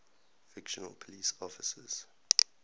fictional police officers